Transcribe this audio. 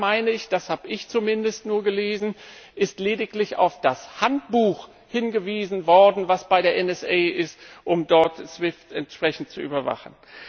Da meine ich das habe ich zumindest nur gelesen ist lediglich auf das Handbuch hingewiesen worden, das bei der NSA ist, um dort SWIFT entsprechend zu überwachen.